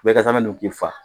Bɛɛ ka zamɛ dun k'i fa.